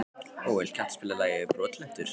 Bóel, kanntu að spila lagið „Brotlentur“?